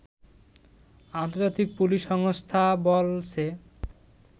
আন্তর্জাতিক পুলিশ সংস্থা বলছে